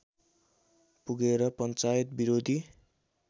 पुगेर पञ्चायत विरोधी